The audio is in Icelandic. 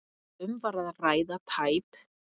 Um var að ræða tæp